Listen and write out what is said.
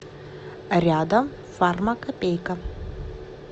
рядом фармакопейка